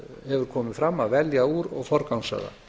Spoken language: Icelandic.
hefur komið fram að velja úr og forgangsraða